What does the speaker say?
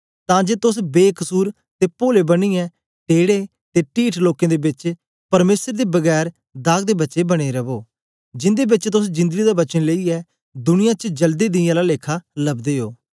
तां जे तोस बेकसुर ते पोले बनियै टेड़े ते टीठ लोकें दे बेच परमेसर दे बिना दाग दे बच्चे बने रवो जिन्दे बेच तोस जिंदड़ी दा वचन लेईयै दुनिया च जलदे दियें आला लेखा लबदे ओ